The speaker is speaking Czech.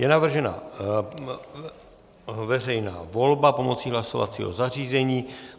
Je navržena veřejná volba pomocí hlasovacího zařízení.